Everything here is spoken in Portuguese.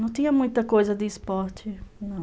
Não tinha muita coisa de esporte, não.